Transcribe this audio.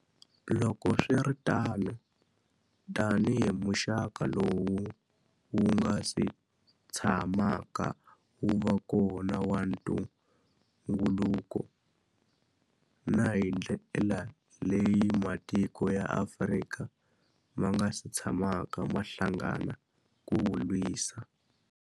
Loko swi ri tano, tanihi muxaka lowu wu nga si tshamaka wu va kona wa ntungukulu, na hi ndlela leyi matiko ya Afrika ma nga si tshamaka ma hlangana ku wu lwisa.